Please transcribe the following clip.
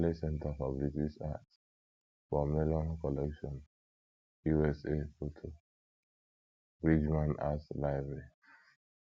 Yale Center for British Art, Paul Mellon Collection, USA / Photo: Bridgeman Art Library